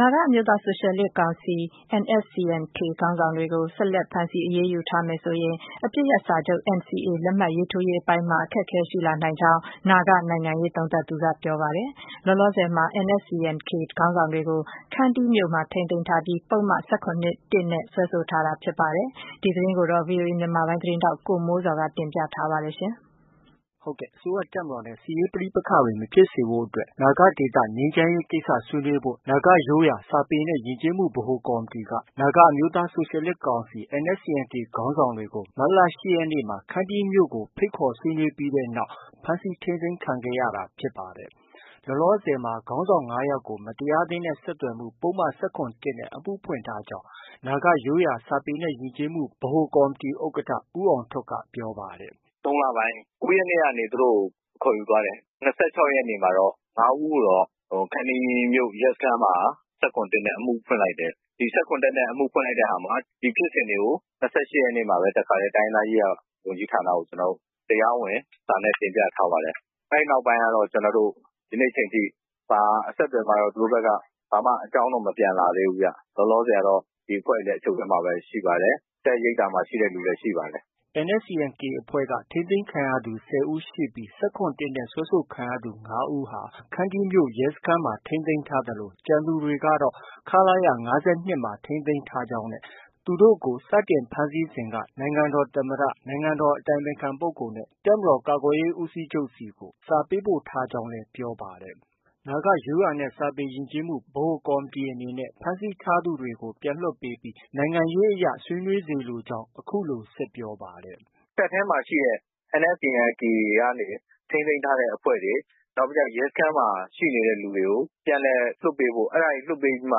နာဂအမျိုးသား ဆိုရှယ်လစ်ကောင်စီ NSCN-K ခေါင်းဆောင်တွေကို ဆက်လက် ဖမ်းဆီး အရေးယူထားမယ်ဆိုရင် အပစ်ရပ်စာချုပ် NCA လက်မှတ်ရေးထိုးရေး အပိုင်းမှာ အခက်အခဲရှိလာ နိုင်ကြောင်း နာဂနိုင်ငံရေး သုံးသပ်သူက ပြောဆိုလိုက်ပါတယ်။ လောလောဆယ်မှာ NSCN-K ခေါင်းဆောင်တွေကို ခန္တီးမြို့မှာ ထိန်းသိမ်းထားပြီး ပုဒ်မ ၁၇ နဲ့ စွဲဆိုထားတာ ဖြစ်ပါတယ်။ ဒီသတင်းကို ဗွီအိုအေမြန်မာပိုင်းရဲ့ သတင်းထောက် ကိုမိုးဇော်က တင်ပြထားပါတယ်။ အစိုးရ တပ်မတော်နဲ့ စစ်ရေးပဋိပက္ခတွေ မဖြစ်စေဖို့အတွက် နာဂဒေသ ငြိမ်ချမ်းရေး ကိစ္စဆွေးနွေးဖို့ နာဂရိုးရာ စာပေနဲ့ ယဉ်ကျေးမှု အဖွဲ့က နာဂအမျိုးသား ဆိုရှယ်လစ်ကောင်စီ NSCN-K ခေါင်းဆောင်တွေကို မတ်လ၈ရက်နေ့မှာ ခန္တီးမြို့ကို ဖိတ်ခေါ် ဆွေးနွေးခဲ့တဲ့နောက်မှာ ဖမ်းဆီး ထိန်းသိမ်းခံခဲ့ရတာ ဖြစ်ပါတယ်။ လောလောဆည်မှာ ခေါင်းဆောင် ၅ယောက်ကို မတရားသင်းနဲ့ ဆက်သွယ်မှု ပုဒ်မ ၁၇ နဲ့ အမှုဖွင့်ခံထားရကြောင်း နာဂရိုးရာ စာပေနဲ့ ယဉ်ကျေးမှု ဗဟို ကော်မတီ ဥက္ကဋ္ဌ ဦးအောင်ထွဋ်က ပြောပါတယ်။ “၃ လပိုင်း ၉ ရက်နေ့ကနေ သူတို့ကို ခေါ်ယူသွားတယ်။ ၂၆ ရက်နေ့မှာတော့ ၅ ဦးကိုတော့ ခန္တီးမြို့ ရဲစခန်းမှာ ၁၇ နဲ့ အမှုဖွင့်လိုက်တယ်။ ၁၇ နဲ့ အမှု ဖွင့်လိုက်တဲ့ဟာမှာ ဒီဖြစ်စဉ်တွေကို ၂၈ ရက်နေ့မှာပဲ တစ်ခါတည်း တိုင်းရင်းသားရေးရာ ဝန်ကြီးဌာနကို တရားဝင်စာနဲ့ တင်ပြထားပါတယ်။ အဲဒီ နောက်ပိုင်းကတော့ ကျနော်တို့ ဒီနေ့ချိန်ထိ ဘာ အဆက်အသွယ်မှတော့ သူတို့ဘက်က ဘာမှ အကြောင်းတော့ မပြန်လာသေးဘူးဗျ။ လောလောဆည်ကတော့ ဒီအဖွဲ့တွေက အချုပ်ထဲမှာပဲ ရှိပါတယ်။ တပ်ရိပ်သာမှာ ရှိတဲ့သူလည်း ရှိပါတယ်။” NSCN-K အဖွဲ့က ထိန်းသိမ်းခံရသူ ၁၀ ဦးရှိပြီး ၁၇ နဲ့ စွဲဆိုခံရသူ ၅ဦးက ခန္တီ ရဲစခန်းမှာ ထိန်းသိမ်းထားသလို ကျန်သူတွေ ကတော့ ခလရ ၅၂ မှာ ထိန်းသိမ်းထားကြောင်းနဲ့ သူတို့ကို စတင် ဖမ်းဆီးစဉ်က နိုင်ငံတော် သမ္မတ၊ နိုင်ငံတော် အတိုင်ပင်ခံ ပုဂ္ဂိုလ်နဲ့ တပ်မတော် ကာကွယ်ရေး ဦးစီးချုပ်ဆီကို စာ ပေးပို့ထားကြောင်းလည်း ပြောပါတယ်။ နာဂရိုးရာ စာပေနဲ့ ယဉ်ကျေးမှု ဗဟို ကော်မတီ အနေနဲ့ကတော့ ဖမ်းဆီးထားသူတွေကို ပြန်လွှတ်ပေးပြီး နိုင်ငံရေးအရ ဆွေးနွေးစေလိုကြောင်းလည်း အခုလို ဆက်ပြောပါတယ်။ “တပ်ထဲမှာရှိတဲ့ NSCN-K ကနေ ထိန်းသိမ်းထားတဲ့ အဖွဲ့တွေ၊ နောက်ပြီးကျ ရဲစခန်းမှာ ရှိနေတဲ့ သူတွေကို ပြန်လည်လွှတ်ပေးဖို့ အဲဒါတွေ လွှတ်ပေးပြီးမှ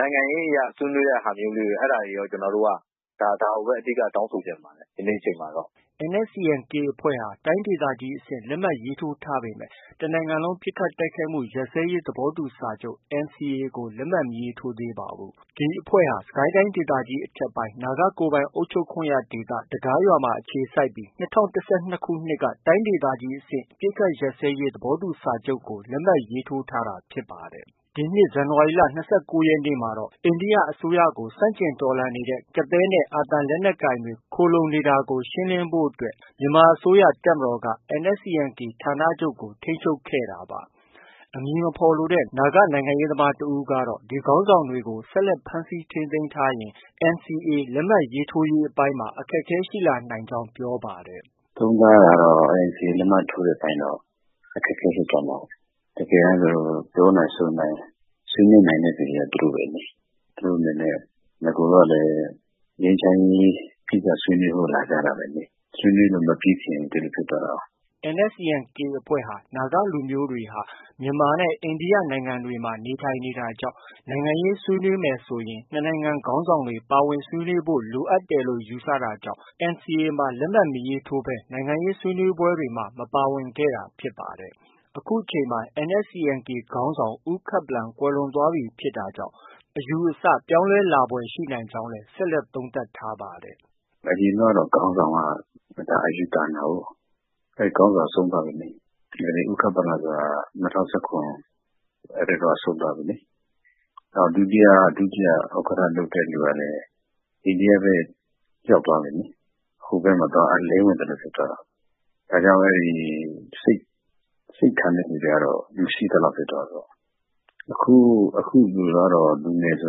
နိုင်ငံရေးအရ ဆွေးနွေးတဲ့ဟာမျိုးကို အဲဒါတွေ ကျနော်တို့က ဒါကိုပဲ အဓိက တောင်းဆိုချင်ပါတယ်။ ဒီနေ့ အချိန်မှာတော့။” NSCN-K အဖွဲ့ဟာ တိုင်းဒေသကြီးအဆင့် လက်မှတ်ရေးထိုးထားပေမဲ့ တနိုင်ငံလုံး ပစ်ခတ်တိုက်ခိုက်မှု ရပ်စဲရေး သဘောတူစာချုပ် NCA ကို လက်မှတ် မရေးထိုးသေးပါဘူး။ အဖွဲ့ကိုတော့ စစ်ကိုင်းတိုင်းဒေသကြီး အထက်ပိုင်း နာဂကိုယ်ပိုင် အုပ်ချုပ်ခွင့်ရဒေသ တဂါးရွာမှာ အခြေစိုက်ထားပြီး ၂၀၁၂ ခုနှစ်က တိုင်းဒေသကြီး အဆင့် အပစ်အခတ် ရပ်စဲရေး သဘောတူညီချက်ကို လက်မှတ် ရေးထိုးထားတာ ဖြစ်ပါတယ်။ ဒီနှစ် ဇန်နဝါရီလ ၂၉ ရက်နေ့မှာတော့ အိန္ဒိယအစိုးရကို ဆန့်ကျင်တော်လှန်နေတဲ့ ကသည်းနဲ့ အာသံ လက်နက်ကိုင်တွေ ခိုလှုံနေတာကို ရှင်းလင်းဖို့အတွက် မြန်မာအစိုးရ တပ်မတော်က NSCN-K ဌာနချုပ်ကို ထိန်းချုပ်ခဲ့တာပါ။ အမည်မဖော်လိုတဲ့ နာဂ နိုင်ငံရေးသမား တဦး ကတော့ ဒီခေါင်းဆောင်တွေကို ဆက်လက် ဖမ်းဆီးထိန်းသိမ်းထားရင် NCA လက်မှတ်ရေးထိုးရေးပိုင်းမှာ အခက်အခဲရှိလာနိုင်ကြောင်း ပြောပါတယ်။ “သုံးသပ်ရတာတော့ NCA လက်မှတ်ရေးထိုးတဲ့အပိုင်းမှာတော့ အခက်အခဲ ရှိသွားနိုင်တာပေါ့။ တကယ်တမ်း ပြောနိုင်ဆိုနိုင် ဆွေးနွေးနိုင်တာက သူတို့ပဲလေ။ သူတို့အနေနဲ့ နဂိုတုန်းကလည်း ငြိမ်းချမ်းရေး ဆွေးနွေးဖို့ လာကြတာပဲလေ။ ဆွေးနွေးဖို့ မပြီးခင် ဒီလို ဖြစ်သွားတာကိုး။” NCSN-K အဖွဲ့ဟာ နာဂလူမျိုးတွေဟာ မြန်မာနဲ့ အိန္ဒိယ နိုင်ငံတွေမှာ နေထိုင်တာကြောင့် နိုင်ငံရေး ဆွေးနွေးမယ်ဆိုရင် ၂ နိုင်ငံ ခေါင်းဆောင်တွေ ပါဝင်ဆွေးနွေးဖို့ လိုအပ်တယ်လို့ ယူဆတာကြောင့် NCA လက်မှတ်ရေးထိုးပြီး နိုင်ငံရေးဆွေးနွေးပွဲတွေကို မပါဝင်ခဲ့တာ ဖြစ်ပါတယ်။ အခုချိန်မှာ NSCN-K ခေါင်းဆောင် ဦးခပ်ပလန် ကွယ်လွန်သွားပြီးဖြစ်တာကြောင့် အယူအဆ ပြောင်းလဲလာဖွယ် ရှိနိုင်ကြောင်းလည်း ဆက်လက် သုံးသပ်ပါတယ်။ “နဂိုတုန်းကတော့ ခေါင်းဆောင်က အယူသန်တာကိုး။ အဲဒီခေါင်းဆောင်က ဆုံးသွားပြီလေ။ ဦးခပ်ပလန်ဆိုတာက ၂၀၁၇ အဲဒီတုန်းက ဆုံးသွားပြီလေ။ ဒုတိယ ဥက္ကဋ္ဌ လုပ်တဲ့သူကလည်း အိန္ဒိယဘက် ရောက်သွားပြီလေ။ ဟိုဘက်မှာ သွား အလင်းဝင်သလို ဖြစ်သွားတာ။ ဒါကြောင့် အဲဒီ စိတ်ထန်တဲ့ သူတွေကတော့ မရှိသလောက် ဖြစ်သွားပြီ။ အခုလူကတော့ လူငယ်ဆို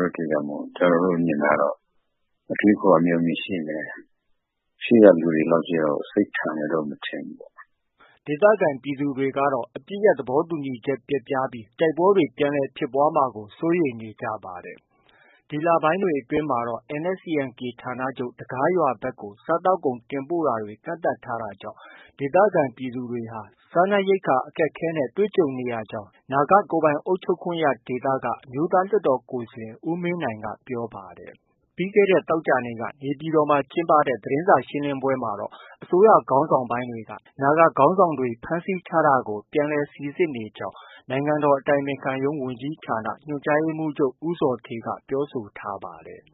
တဲ့အတွက်ကြောင့် ကျနော်တို့ မြင်တာတော့ အတွေးအခေါ် အမျှော်အမြင် ရှိမယ်။ ရှေ့က လူတွေလောက်တော့ စိတ်ထန်မယ်လို့တော့ မထင်ဘူးပေါ့။” ဒေသခံ ပြည်သူတွေကတော့ အပစ်ရပ် သဘောတူညီချက် ပျက်ပြားပြီး တိုက်ပွဲတွေ ပြန်လည် ဖြစ်ပွားမှာကို စိုးရိမ်နေကြပါတယ်။ ဒီလပိုင်းတွေ အတွင်းမှာတော့ NSCN-K ဌာနချုပ် တဂါးရွာဘက်ကို စားသောက်ကုန် တင်ပို့တာတွေ ကန့်သတ်ထားတာကြောင့် ဒေသခံပြည်သူတွေ စားနပ်ရိက္ခာ အခက်အခဲ ကြုံတွေ့နေရကြောင်း နာဂကိုယ်ပိုင် အုပ်ချုပ်ခွင့်ရဒေသက အမျိုးသား လွှတ်တော်ကိုယ်စားလှယ် ဦးမင်းနိုင်ကပြောပါတယ်။ ပြီးခဲ့တဲ့ သောကြာနေ့က နေပြည်တော်မှာ ကျင်းပတဲ့ သတင်းစာ ရှင်းလင်းပွဲမှာတော့ အစိုးရ ခေါင်းဆောင်ပိုင်းက နာဂခေါင်းဆောင်တွေ ဖမ်းဆီးထားတာကို ပြန်လည်စီစစ်နေကြောင်း နိုင်ငံတော်အတိုင်ပင်ခံ ရုံးဝန်ကြီးဌာန ညွှန်ကြားရေးမှုးချုပ် ဦးဇော်ဌေးက ပြောဆိုထားပါတယ်။